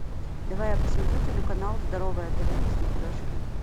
давай я посмотрю телеканал здоровое тв на смотрешке